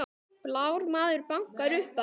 Blár maður bankar upp á